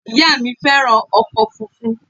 Ìyá à mí fẹ́ràn ọkọ̀ funfun